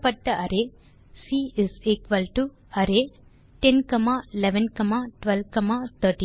கொடுக்கப்பட்ட array C array10 11 12 13 20